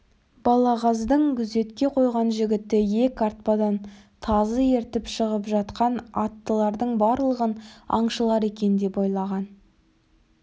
балағаздың күзетке қойған жігіті иек артпадан тазы ертіп шығып жатқан аттылардың барлығын аңшылар екен деп ойлаған